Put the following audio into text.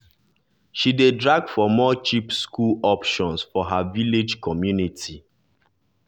she dey drag for more cheap school optons for her village community.